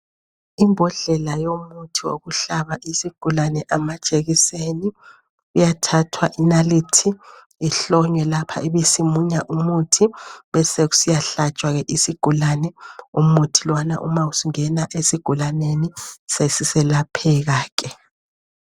Imbodlela yomuthi wokuhlaba isigulane amajekiseni kuyathathwa inalithi ihlonywe lapha ibisi munya umuthi besekuya hlatshwa ke isigulane umuthi lowana uma usungena esigulaneni sesiselapheka ke.